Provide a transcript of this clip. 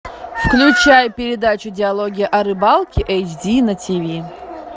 включай передачу диалоги о рыбалке эйч ди на тв